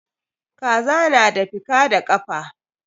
Kaza na da fika da kafa.